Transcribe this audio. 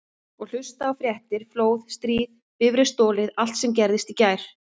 Og hlusta á fréttir: flóð, stríð, bifreið stolið allt sem gerðist í gær.